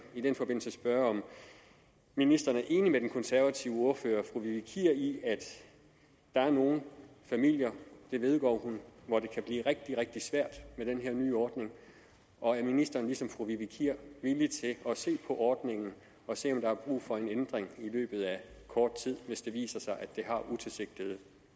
i den forbindelse spørge om ministeren er enig med den konservative ordfører fru vivi kier i at der er nogle familier det vedgår hun hvor det kan blive rigtig rigtig svært med den her nye ordning og er ministeren ligesom fru vivi kier villig til at se på ordningen og se om der er brug for en ændring i løbet af kort tid hvis det viser sig at det har utilsigtede